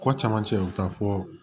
Kɔ camancɛ u bɛ taa fɔ